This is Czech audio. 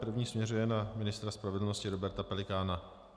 První směřuje na ministra spravedlnosti Roberta Pelikána.